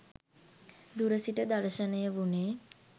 දුර සිට දර්ශනය වුණේ